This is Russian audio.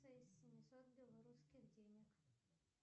семисот белорусских денег